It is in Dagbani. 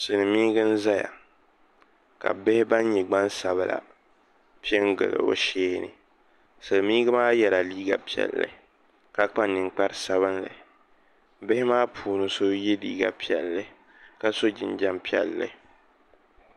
Silmiingi n ʒɛya ka bihi ban nyɛ gbansabila piɛ n gili o shee ni silmiingi maa yɛla liiga piɛlli ka kpa ninkpari sabinli bihi maa puuni so yɛ liiga piɛlli ka so jinjɛm piɛlli